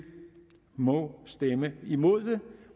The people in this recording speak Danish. må stemme imod det